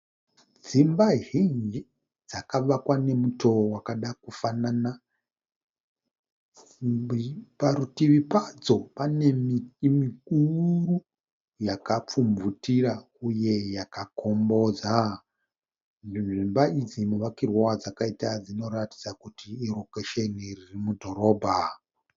Dzimba zhinji dzakavakwa nomutoo vakada kufanana. Parutivi padzo pane miti mikuru yakapfumvutira uye yakakombodza, dzimba idzi muvakirwo wadzakaita dzinoratidza kuti irokesheni ririmudhorobha.